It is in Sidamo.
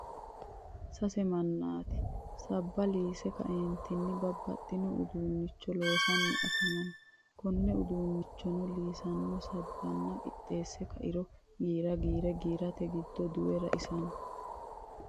sase maanti sabba liise ka'eenitinni babaxino uduunicho loosanni afamano konne uduunichono liisinno sabinni qixeese kairo giira giire giirate giddo duwe raisanno.